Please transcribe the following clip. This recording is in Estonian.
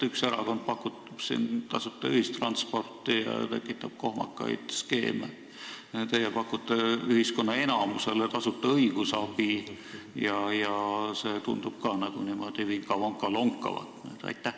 Üks erakond pakub tasuta ühistransporti ja tekitab kohmakaid skeeme, teie pakute enamikule ühiskonnast tasuta õigusabi ja see tundub ka niimoodi vinka-vonka lonkavat?